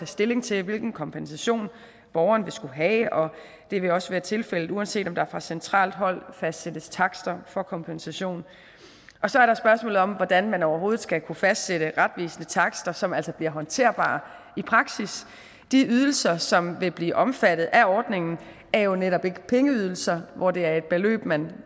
stilling til hvilken kompensation borgeren vil skulle have og det vil også være tilfældet uanset om der fra centralt hold fastsættes takster for kompensation og så er der spørgsmålet om hvordan man overhovedet skal kunne fastsætte retvisende takster som altså bliver håndterbare i praksis de ydelser som vil blive omfattet af ordningen er jo netop ikke pengeydelser hvor det er et beløb man